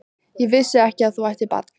Ég vissi ekki að þú ættir barn?